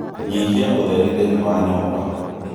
nyihia ũtheri thĩĩni wa nyũmba